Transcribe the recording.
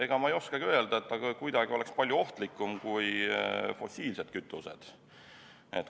Ega ma ei oskagi öelda, et see oleks kuidagi ohtlikum kui fossiilsed kütused.